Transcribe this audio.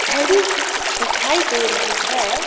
खड़ी हुई दिखाई दे रही है।